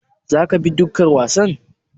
Za ka bi dokar wasan?